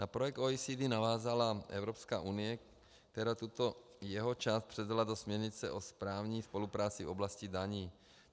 Na projekt OECD navázala Evropská unie, která tuto jeho část předala do směrnice o správní spolupráci v oblasti daní.